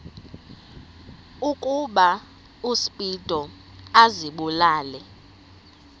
ukuba uspido azibulale